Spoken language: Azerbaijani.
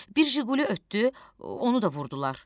Bir Zhiguli ötdü, onu da vurdular.